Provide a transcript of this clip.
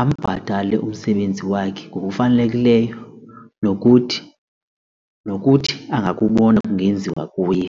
ambhatale umsebenzi wakhe ngokufanelekileyo nokuthi nokuthi angakubona kungenziwa kuye.